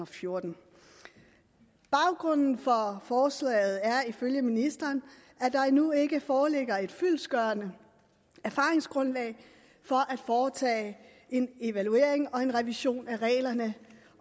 fjorten baggrunden for forslaget er ifølge ministeren at der endnu ikke foreligger et fyldestgørende erfaringsgrundlag at foretage en evaluering og en revision af reglerne